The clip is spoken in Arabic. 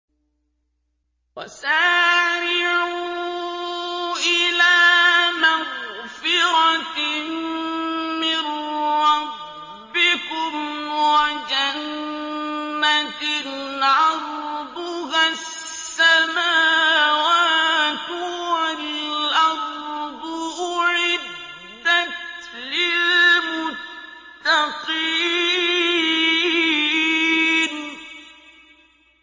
۞ وَسَارِعُوا إِلَىٰ مَغْفِرَةٍ مِّن رَّبِّكُمْ وَجَنَّةٍ عَرْضُهَا السَّمَاوَاتُ وَالْأَرْضُ أُعِدَّتْ لِلْمُتَّقِينَ